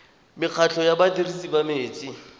mekgatlho ya badirisi ba metsi